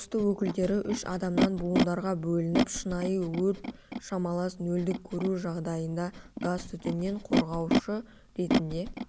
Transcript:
тосты өкілдері үш адамнан буындарға бөлініп шынайы өрт шамалас нөлдік көру жағдайында газтүтіннен қорғаушы ретінде